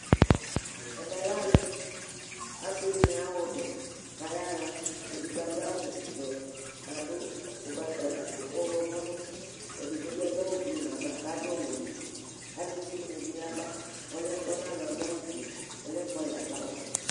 ɛmɛ lɛ ali asi di ni aɣa ɔbɛ k'aya ɣa edigbo adu awu vɛ k'adu ugbata ɛkòfu ɔwlɔmɔ n'uti edigbo bi adu awu blu n'ava k'adu ɔwɛ n'uti aluvi di ni ya ba ɔloɛ tɔ n'alɔ yɛ adu awu fue ɔloɛ fua yi adu awu vɛ